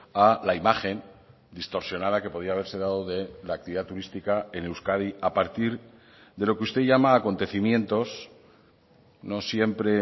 a la imagen distorsionada que podía haberse dado de la actividad turística en euskadi a partir de lo que usted llama acontecimientos no siempre